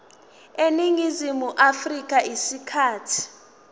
eningizimu afrika isikhathi